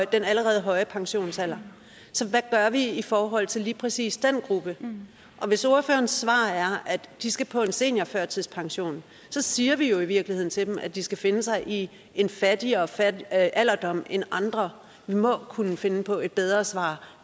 den allerede høje pensionsalder så hvad gør vi i forhold til lige præcis den gruppe og hvis ordførerens svar er at de skal på en seniorførtidspension så siger vi jo i virkeligheden til dem at de skal finde sig i en fattigere fattigere alderdom end andre vi må kunne finde på et bedre svar